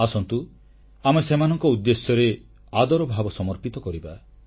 ଆସନ୍ତୁ ଆମେ ସେମାନଙ୍କ ଉଦ୍ଦେଶ୍ୟରେ ଆଦର ଭାବ ସମର୍ପିତ କରିବା